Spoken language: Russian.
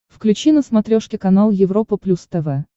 включи на смотрешке канал европа плюс тв